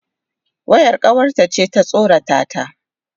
Wayar kawarta ce ta tsorata ta.